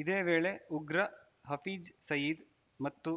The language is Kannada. ಇದೇ ವೇಳೆ ಉಗ್ರ ಹಫೀಜ್‌ ಸಯೀದ್‌ ಮತ್ತು